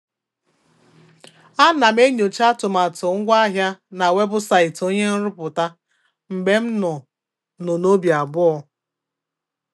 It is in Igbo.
A na m enyocha atụmatụ ngwaahịa na webụsaịtị onye nrụpụta mgbe m nụ nụ n'obi abụọ.